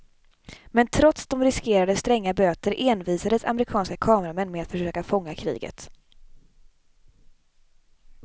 Men trots de riskerade stränga böter envisades amerikanska kameramän med att försöka fånga kriget.